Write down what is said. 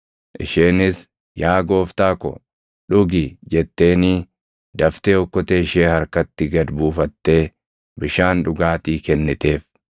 Isheenis, “Yaa gooftaa ko, dhugi” jetteenii daftee okkotee ishee harkatti gad buufattee bishaan dhugaatii kenniteef.